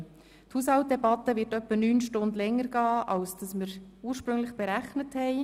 Die Haushaltsdebatte wird etwa neun Stunden länger dauern als ursprünglich berechnet.